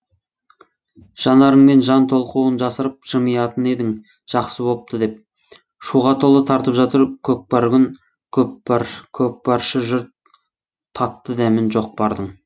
жанарыңмен жан толқуын жасырып жымиятын едің жақсы бопты деп шуға толы тартып жатыр көкпрар күн көпаршы жұрт татты дәмін жоқ бардың